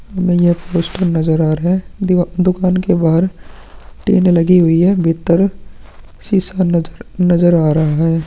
हमें ये पोस्टर नज़र आ रहा है दीवा-- दुकान के बाहर टीन लगी हुई है भित्तर शीशा नज़र आ रहा है।